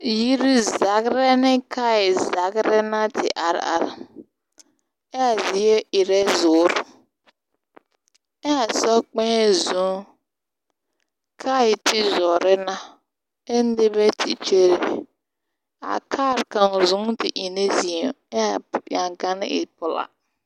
Yiri zagerԑ ne kaayԑ zagera na di are are eԑԑ zie erԑ zuuri, eԑԑ sokpԑԑ zͻͻ. kaare te zore na ԑ nobԑ te kyere. A kaar kaŋ zu te e ne zeԑ aa eŋgao te e pelaa.